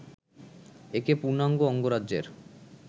একে পূর্ণাঙ্গ অঙ্গরাজ্যের